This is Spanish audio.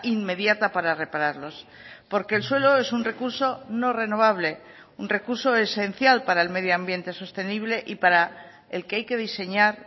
inmediata para repararlos porque el suelo es un recurso no renovable un recurso esencial para el medioambiente sostenible y para el que hay que diseñar